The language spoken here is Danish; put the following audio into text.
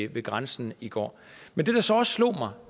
ved grænsen i går men det der så også slår mig